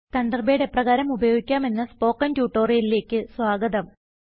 Thunderbird എപ്രകാരം ഉപയോഗിക്കാം എന്ന സ്പോകെൻ ട്യൂട്ടോറിയലിലേക്ക് സ്വാഗതം